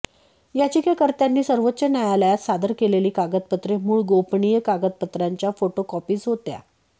याचिकाकर्त्यांनी सर्वोच्च न्यायालयात सादर केलेली कागदपत्रे मूळ गोपनीय कागदपत्रांच्या फोटोकॉपीज होत्या